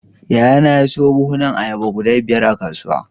Yayana ya siyo buhunan ayaba guda biyar a kasuwa.